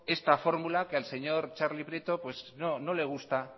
esta fórmula que al señor txarli prieto no le gusta